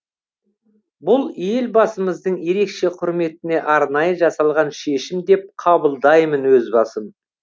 бұл елбасымыздың ерекше құрметіне арнайы жасалған шешім деп қабылдаймын өз басым